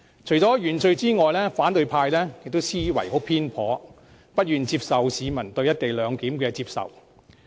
除了原罪外，反對派的思維偏頗，不願接受市民對"一地兩檢"的接受。